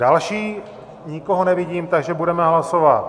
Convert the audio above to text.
Další, nikoho nevidím, takže budeme hlasovat.